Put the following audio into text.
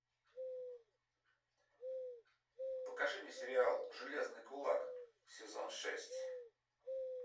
покажи мне сериал железный кулак сезон шесть